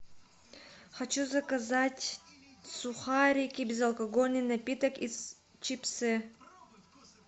хочу заказать сухарики безалкогольный напиток и чипсы